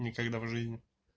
никогда в жизни